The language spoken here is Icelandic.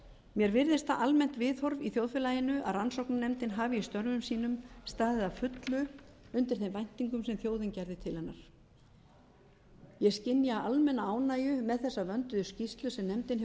mér virðist það almennt viðhorf í þjóðfélaginu að rannsóknarnefndin hafi í störfum sínum staðið að fullu undir þeim væntingum sem þjóðin gerði til hennar ég skynja almenna ánægju með þessa vönduðu skýrslu sem nefndin hefur